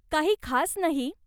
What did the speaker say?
काही खास नाही.